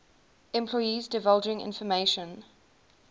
employees divulging information